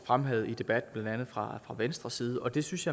fremhævet i debatten blandt andet fra venstres side og det synes